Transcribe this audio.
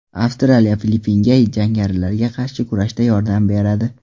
Avstraliya Filippinga jangarilarga qarshi kurashda yordam beradi.